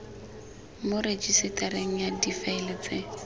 mo rejisetareng ya difaele tse